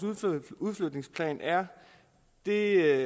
udflytningsplan er er